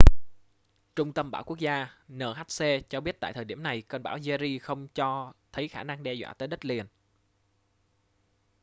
trung tâm bão quốc gia nhc cho biết tại thời điểm này cơn bão jerry không cho thấy khả năng đe dọa tới đất liền